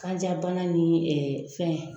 Kanja bana ni fɛn